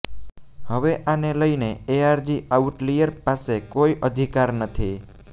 હવે આને લઈને એઆરજી આઉટલિયર પાસે કોઈ અધિકાર નથી